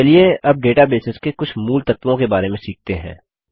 चलिए अब डेटाबेसेस के कुछ मूलतत्वों के बारे में सीखते हैं